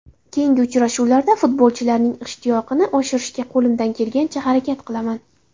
Keyingi uchrashuvlarda futbolchilarning ishtiyoqini oshirishga qo‘limdan kelganicha harakat qilaman.